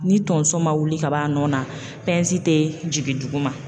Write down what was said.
Ni tonso ma wili ka bɔ a nɔ na te jigin dugu ma